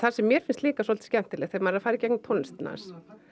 sem mér finnst líka svolítið skemmtilegt þegar maður er að fara í gegnum tónlistina hans